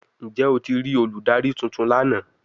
Njẹ o ti rii oludari tuntun lana?